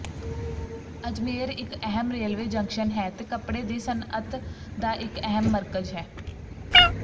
ਅਜਮੇਰ ਇੱਕ ਅਹਿਮ railway junction ਹੈ ਤੇ ਕੱਪੜੇ ਦੀ ਸਨਅਤ ਦਾ ਇੱਕ ਅਹਿਮ ਮਰਕਜ਼ ਹੈ